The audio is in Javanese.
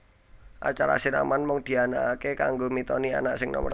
Acara siraman mung dianakake kanggo mitoni anak sing nomer siji